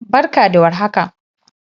Barka da war haka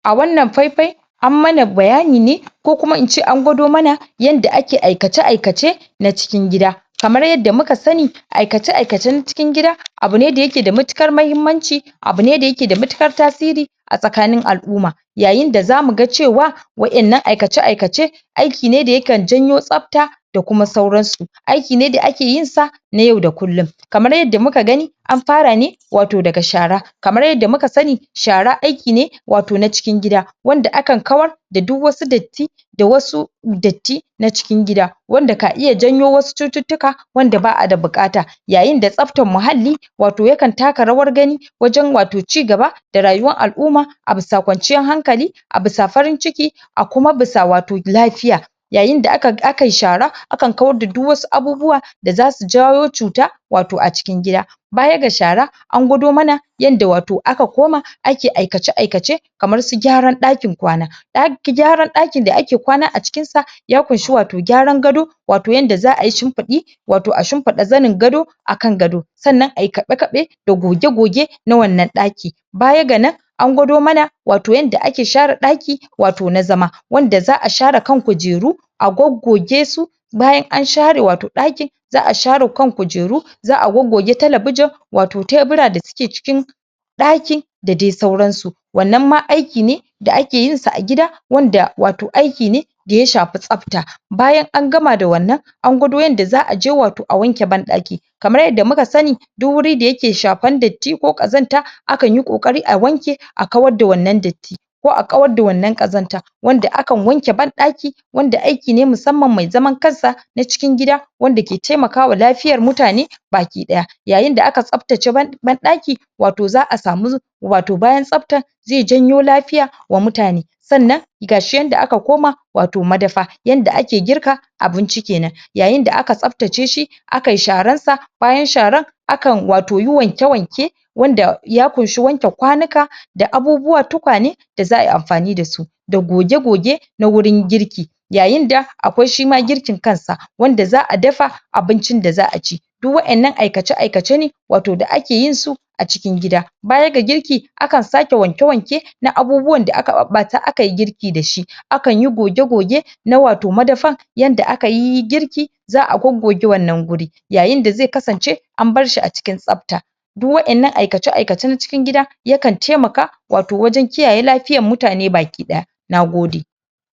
a wannan fai-fai an mana bayani ko kuma ince an gwado mana yanda ake aikace-aikace na cikin gida. Kamar yadda muka sani aikace-aikacen cikin gida abune da yake da matuƙar mahimmanci abune da yake da matuƙar tasiri a tsakanin al'umma. Yayinda za muga cewa wa'innan aikace-aikace aiki ne da yakan janyo tsapta da kuma sauransu. Aiki ne da ake yinsa na yau da kullum, kamar yadda muka gani an fara ne wato daga shara kamar yadda muka sani shara aiki ne wato na cikin gida, wanda akan kawar da duk wasu datti da wasu datti na cikin gida, wanda ka iya janyo wasu cututtuka wanda ba'a da buƙata. Yayinda tsaftan muhalli wato yakan taka rawar gani wajan wato cigaba da rayuwar al'uma a bisa kwanciyan hankali, a bisa farin ciki, a kuma bisa wato lafiya. Yayinda aka akayi shara akan kawar da duk wasu abubuwa da zasu jawo cuta wato a cikin gida. Baya ga shara an gwado mana yadda wato aka koma ake aikace-aikace kamar su gyaran ɗakin kwana ɗa gyaran ɗakin da ake kwana a cikin sa ya kunshi wato gyaran gado, wato yanda za'ayi shimpiɗi wato a shimpiɗa zanin gado akan gado. Sannan ayi kaɓe-kaɓe da goge-goge na wannan ɗaki. Baya ga nan an gwado mana wato yanda ake shara ɗaki wato na zama wanda za'a shara kan kujreu a goggoge su, bayan an share wato ɗaki za,a share kan kujeru, za'a goggoge talabijin wato tenura da suke cikin ɗaki da dai sauransu. Wannan ma aiki ne da ake yinsa a gida wanda wato aiki ne daya shapi tsafta. Bayan an gama da wannan an gwado yanda za, aje wato a wanke ban ɗaki kamar yadda muka sani duk wurin da yake shapan datti ko ƙazanta akan yi ƙoƙari a wanke a kawarda wannan datti ko a kawar da wannan ƙazanta. Wanda akan wanke ban ɗaki wanda aiki ne musamman mai zaman kamsa na cikin gida wanda ke taimakawa lafiyar mutane baki ɗaya. Yayinda aka tsaftace ban ɗaki wato za'a samu wato bayan tsaftan ze janyo lafiya wa mutane. Sannan gashi yanda aka koma wato madafa yanda ake girka abinci kenan. Yayinda aka tsaftace shi akayi sharansa bayan sharan, akan wato yi wanke-wanke wanda ya kunshi wanke kwanika, da abubuwa tukwane da za'ai amfani dasu da goge-goge na wurin girki. Yayinda akwai shima girkin kansa wanda za'a dafa abincin da za'aci. Duk wa'innan aikace-aikace ne wato da ake yin su a cikin gida. Baya ga girki akan sake wanke-wanke na abubuwan da ake ɓaɓɓata akayi girki dashi, akanyi goge-goge na wato madafan yanda akayi girki za'a goggoge wannan guri. Yayinda ze kasance am barshi a cikin tsafta. Duk wa'innan aikace-aikacen cikin gida yaka n taimaka wato wajan kiyaye lafiyan mutane baki ɗaya, nagode.